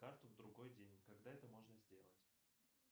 карту в другой день когда это можно сделать